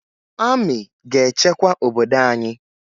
Amị ga-echekwa obodo anyị